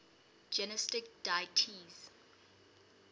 gnostic deities